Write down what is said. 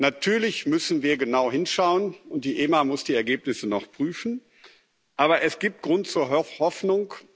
Natürlich müssen wir genau hinschauen, und die EMA muss die Ergebnisse noch prüfen, aber es gibt Grund zur Hoffnung.